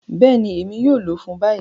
Bẹẹni, Emi yoo lọ fun bayi.